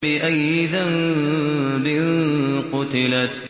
بِأَيِّ ذَنبٍ قُتِلَتْ